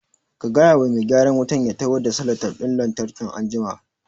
Ka gaya wa mai gyaran wutan ya taho da salatef ɗin lantarki anjima